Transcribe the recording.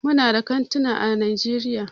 Muna da kantuna ã Najeriya.